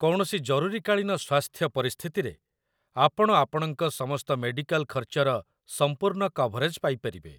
କୌଣସି ଜରୁରୀକାଳୀନ ସ୍ୱାସ୍ଥ୍ୟ ପରିସ୍ଥିତିରେ, ଆପଣ ଆପଣଙ୍କ ସମସ୍ତ ମେଡ଼ିକାଲ ଖର୍ଚ୍ଚର ସମ୍ପୂର୍ଣ୍ଣ କଭରେଜ୍ ପାଇପାରିବେ